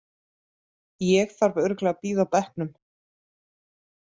Ég þarf örugglega að bíða á bekknum.